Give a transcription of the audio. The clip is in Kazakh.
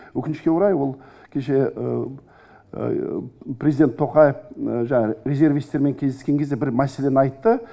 өкінішке орай ол кеше президент тоқаев резервистермен кездескенде бір мәселені айтты